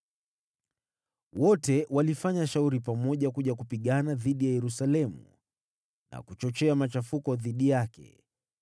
Wote walifanya shauri pamoja kuja kupigana dhidi ya Yerusalemu, na kuchochea machafuko dhidi yake.